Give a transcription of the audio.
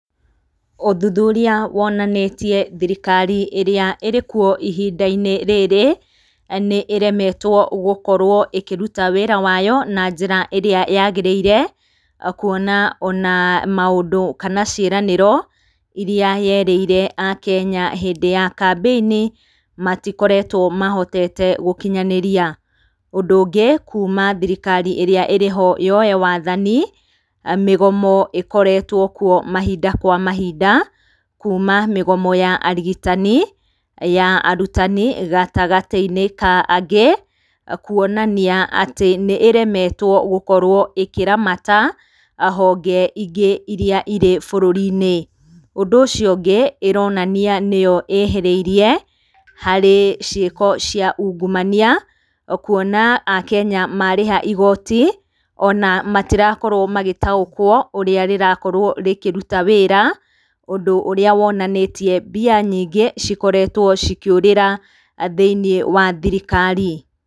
Ũthuthuria wonanĩtie thirikari ĩrĩa ĩrĩkuo ihinda-inĩ rĩrĩ nĩ ĩremetwo gũkorwo ĩkĩruta wĩra wayo na njĩra ĩrĩa yagĩrĩire, kũona ona maũndũ, kana ciĩranĩro iria yerĩire akenya hĩndĩ ya kambĩinĩ matikoretwo mahotete gũkinyanĩria. Ũndũ ũngĩ kuuma thirikari ĩrĩa ĩrĩho yoe wathani, mĩgomo ĩkoretwo kuo mahinda kwa mahinda, kuuma mĩgomo ya arigitani, ya arutani, gatagatĩ-inĩ ka angĩ. Kũonania atĩ nĩ ĩremetwo gũkorwo ĩkĩramata honge ingĩ ĩrĩa irĩ bũrũrĩ-inĩ. Ũndũ ũcio ũngi, ĩronania nĩyo ĩhĩrĩirie harĩ ciĩko cia ungumania, kũona akenya marĩha igoti, ona matirakorwo magĩtaũkwo ũrĩa rĩrakorwo rĩkĩruta wĩra. Ũndũ ũrĩa wonanĩtie mbia nyingĩ cikoretwo cikĩũrĩra thĩiniĩ wa thirikari.